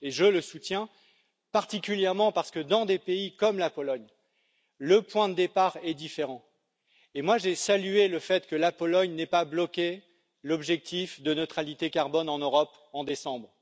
Je le soutiens particulièrement parce que dans des pays comme la Pologne, le point de départ est différent, et j'ai salué le fait que la Pologne n'ait pas bloqué l'objectif de neutralité carbone en Europe en décembre.